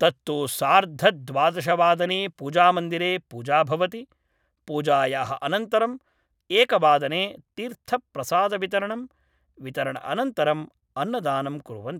तत्तु सार्धद्वादशवादने पूजा मन्दिरे पूजा भवति पूजायाः अनन्तरम् एकवादने तीर्थप्रसादवितरणम्, वितरणअनन्तरम् अन्नदानम् कुर्वन्ति